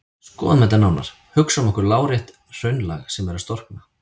Skoðum þetta nánar: Hugsum okkur lárétt hraunlag sem er að storkna.